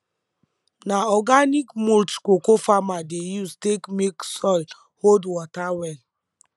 na organic mulch cocoa farmer dey use take make soil hold water well